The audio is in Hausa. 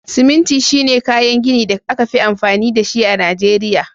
Siminti shine kayan gini da aka fi amfani da shi a Najeriya